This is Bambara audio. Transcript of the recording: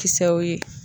Kisɛw ye